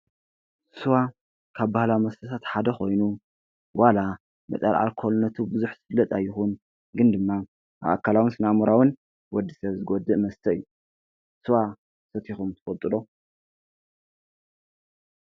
ስዋ ካብ ባህላዊ መስተታት ሓደ ኮይኑ ዋላ መጠነ ኣልኮልነቱ ብዙሕ ዝፍለጥ ኣይኹን ግን ድማ ኣካላውን ስነኣምራውን ወድ ሰብ ዝጎድእ መስተ እዩ ። ስዋ ሰቲኹም ትፈልጡ ዶ?